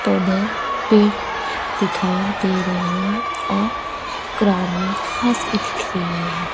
पौधे पेड़ दिखाई दे रहे हैं और ग्राउंड में घास भी दिख रही है।